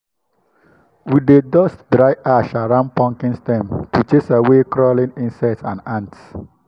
we dey dust dry ash around pumpkin stems to chase away crawling insects and ants.